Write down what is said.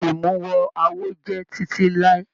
Imuwọ̀ awo jẹ titi lai.